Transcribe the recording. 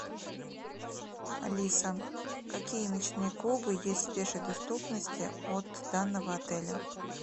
алиса какие ночные клубы есть в пешей доступности от данного отеля